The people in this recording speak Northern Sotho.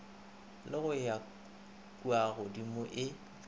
le go ya kuagodimo e